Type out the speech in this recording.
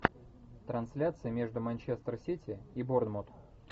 трансляция между манчестер сити и борнмут